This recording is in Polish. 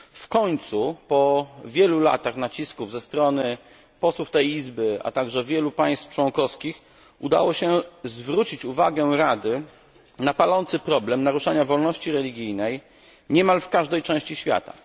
W końcu po wielu latach nacisków ze strony posłów tej Izby, a także wielu państw członkowskich udało się zwrócić uwagę Rady na palący problem naruszania wolności religijnej niemal w każdej części świata.